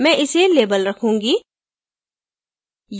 मैं इसे label रखूँगी